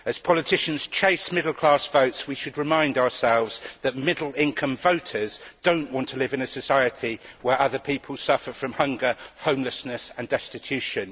As politicians chase middle class votes, we should remind ourselves that middle income voters do not want to live in a society where other people suffer from hunger, homelessness and destitution.